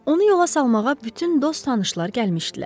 Onu yola salmağa bütün dost-tanışlar gəlmişdilər.